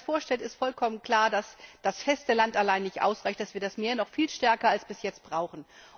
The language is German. Wenn man sich das vorstellt, ist vollkommen klar, dass das Festland allein nicht ausreicht, dass wir das Meer noch viel stärker als bisher brauchen.